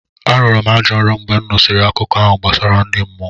Arọrọ m ajọ nrọ mgbe m nụsịrị akụkọ ahụ gbasara ndi mmụọ.